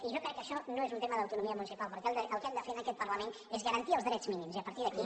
i jo crec que això no és un tema d’autonomia municipal perquè el que hem de fer en aquest parlament és garantir els drets mínims i a partir d’aquí